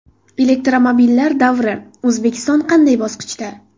Elektromobillar davri: O‘zbekiston qanday bosqichda?.